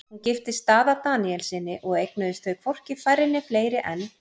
Hún giftist Daða Daníelssyni og eignuðust þau hvorki færri né fleiri en